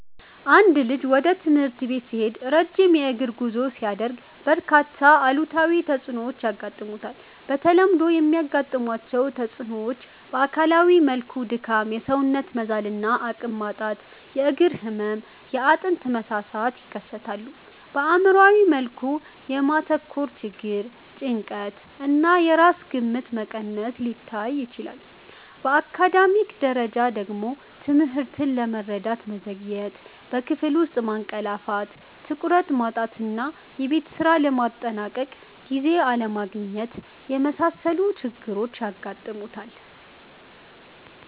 አንድ ልጅ ወደ ትምህርት ቤት ሲሄድ ረጅም የእግር ጉዞ ሲያደርግ፣ በርካታ አሉታዊ ተጽዕኖዎች ያጋጥሙታል። በተለምዶ የሚያጋጥሟቸው ተጽዕኖዎች በአካላዊ መልኩ ድካም፣ የሰውነት መዛል እና አቅም ማጣት፣ የእግር ህመም፣ የአጥንት መሳሳት ይከሰታል። በአእምሯዊ መልኩ የማተኮር ችግር፣ ጭንቀት እና የራስ ግምት መቀነስ ሊታዩ ይችላሉ። በአካዳሚክ ደረጃ ደግሞ ትምህርትን ለመረዳት መዘግየት፣ በክፍል ውስጥ ማንቀላፋት፣ ትኩረት ማጣት እና የቤት ስራ ለማጠናቀቅ ጊዜ አለማግኘት የመሳሰሉ ችግሮች ያጋጥሙታል።